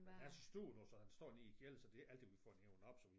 Den er stor du så den står nede i æ klæder så det er ikke altid vi får den hevet op så vi